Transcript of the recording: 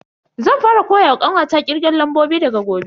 Zan fara koyawa kanwata kirgen lambobi daga gobe.